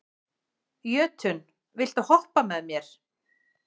Jötunn, viltu hoppa með mér?